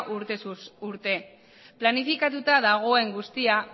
urtez urte planifikatuta dagoen guztia